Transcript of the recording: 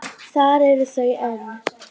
Þar eru þau enn.